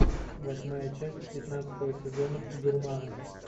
восьмая часть пятнадцатого сезона гурманы